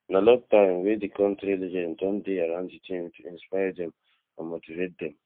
na long time wey di kontris legends don dey around di team to inspire dem and motivate dem